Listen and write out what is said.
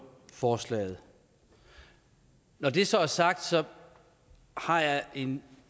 forslaget når det så er sagt har jeg en